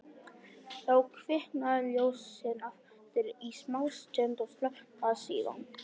Þá kviknaði ljósið aftur í smástund og slökknaði síðan.